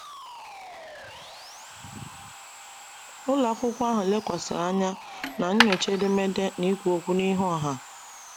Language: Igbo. Ụlọ akwụkwọ ahụ lekwasịrị anya na nyocha edemede na ikwu okwu n’ihu ọha.